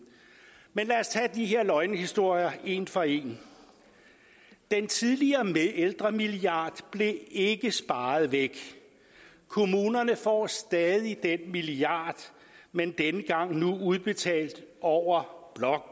men lad os tage de her løgnehistorier en for en den tidligere ældremilliard blev ikke sparet væk kommunerne får stadig den milliard men nu udbetalt over